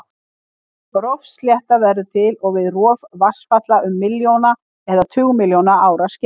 Rofslétta verður til við rof vatnsfalla um milljóna eða tugmilljóna ára skeið.